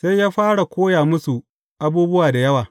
Sai ya fara koya musu abubuwa da yawa.